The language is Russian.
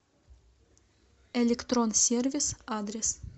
электрон сервис адрес